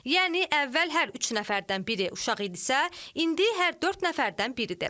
Yəni əvvəl hər üç nəfərdən biri uşaq idisə, indi hər dörd nəfərdən biridir.